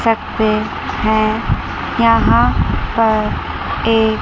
सकते हैं यहां पर एक--